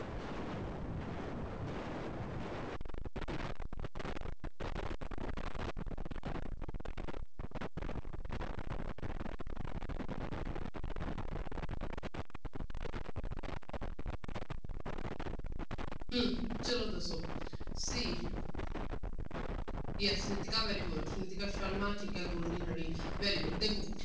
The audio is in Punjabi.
ਹਮ ਚਲੋ ਦੱਸੋ c yes Nitika very good Nitika Sharma ਠੀਕ ਹੈ very good ਦੇਖੋ